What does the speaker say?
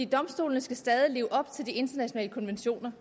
domstolene skal stadig leve op til de internationale konventioner